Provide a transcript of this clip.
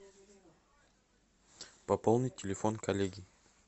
пополнить телефон коллеги